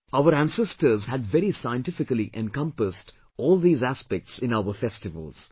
Our ancestors had very scientifically encompassed all these aspects in our festivals